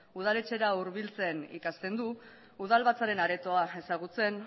udaletxera hurbiltzen ikasten du udalbatzaren aretoa ezagutzen